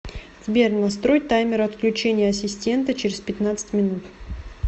сбер настрой таймер отключения ассистента через пятнадцать минут